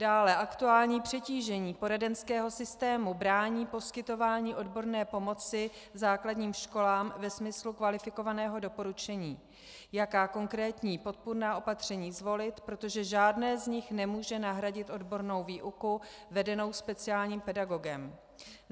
Dále, aktuální přetížení poradenského systému brání poskytování odborné pomoci základním školám ve smyslu kvalifikovaného doporučení, jaká konkrétní podpůrná opatření zvolit, protože žádné z nich nemůže nahradit odbornou výuku vedenou speciálním pedagogem.